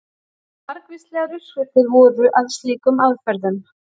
Margvíslegar uppskriftir voru að slíkum aðferðum.